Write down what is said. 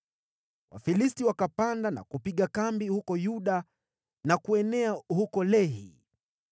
Wafilisti wakapanda na kupiga kambi huko Yuda na kuenea huko Lehi.